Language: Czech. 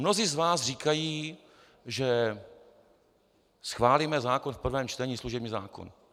Mnozí z vás říkají, že schválíme zákon v prvém čtení, služební zákon.